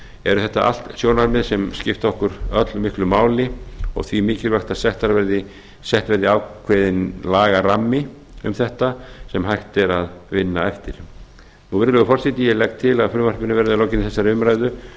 eru þetta allt sjónarmið sem skipta okkur öll miklu máli og því mikilvægt að settur verði ákveðinn lagarammi um þetta sem hægt er að vinna eftir virðulegur forseti ég legg til að frumvarpinu verði að lokinni þessari umræðu